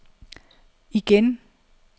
igen